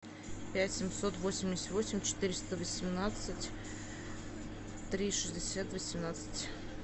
пять семьсот восемьдесят восемь четыреста восемнадцать три шестьдесят восемнадцать